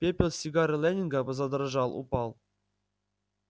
пепел с сигары лэннинга задрожал упал